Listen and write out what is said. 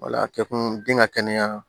Wala kɛ kun den ka kɛnɛya